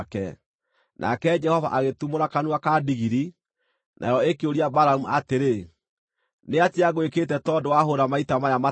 Nake Jehova agĩtumũra kanua ka ndigiri, nayo ĩkĩũria Balamu atĩrĩ, “Nĩatĩa ngwĩkĩte tondũ wahũũra maita maya matatũ?”